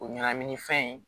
O ɲɛnamini fɛn in